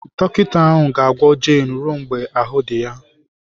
Dọkịta ahụ ga-agwọ Jane ruo mgbe ahụ́ dị ya.